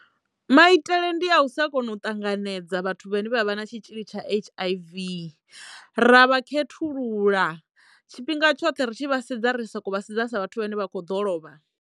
Maitele ndi a u sa kono u ṱanganedza vhathu vhane vha vha na tshitzhili tsha H_I_V ra vha khethulula tshifhinga tshoṱhe ri tshi vhasedza ri soko vhasedza sa vhathu vhene vha kho ḓo lovha.